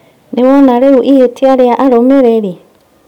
Nĩwona rĩũ ihĩtia rĩa arũmĩrĩri?